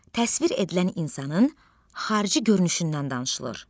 Təsvir edilən insanın xarici görünüşündən danışılır.